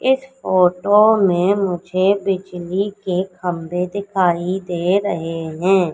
इस फोटो में मुझे बिजली के खंबे दिखाई दे रहे है।